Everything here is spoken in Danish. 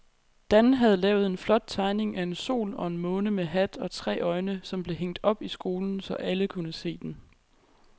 Dan havde lavet en flot tegning af en sol og en måne med hat og tre øjne, som blev hængt op i skolen, så alle kunne se den.